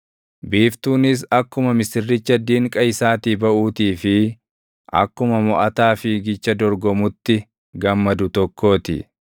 biiftuunis akkuma misirricha dinqa isaatii baʼuutii fi akkuma moʼataa fiigicha dorgomutti gammadu tokkoo ti.